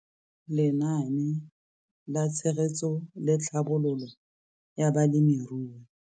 Lenaane la Tshegetso le Tlhabololo ya Balemirui.